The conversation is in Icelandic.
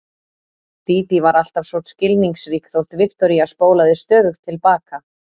Dídí var alltaf svo skilningsrík þótt Viktoría spólaði stöðugt til baka.